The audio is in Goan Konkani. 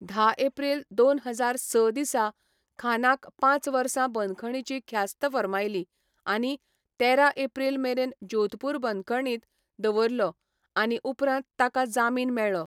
धा एप्रिल दोन हजार स दिसा खानाक पांच वर्सां बंदखणीची ख्यास्त फर्मायली आनी तेरा एप्रिल मेरेन जोधपूर बंदखणींत दवरलो आनी उपरांत ताका जामीन मेळ्ळो.